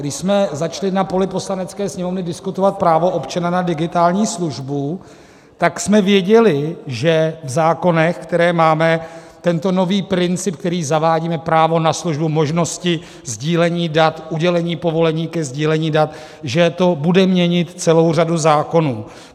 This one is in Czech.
Když jsme začali na poli Poslanecké sněmovny diskutovat právo občana na digitální službu, tak jsme věděli, že v zákonech, které máme, tento nový princip, který zavádíme, právo na službu možnosti sdílení dat, udělení povolení ke sdílení dat, že to bude měnit celou řadu zákonů.